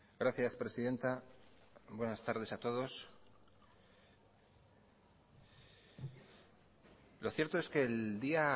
gracias presidenta buenas tardes a todos lo cierto es que el día